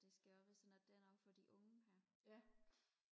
det skal også være sådan at der er noget for de unge her